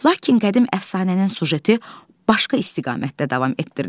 Lakin qədim əfsanənin süjeti başqa istiqamətdə davam etdirilir.